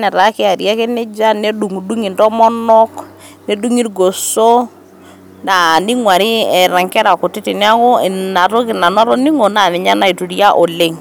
netaa keari ake nejia ,nedungidungi ntomonok ,nedungi irgoso ,aa ningwari eeta nkera kutitik . niaku ina toki nanu atoningo na ninye naituria oleng .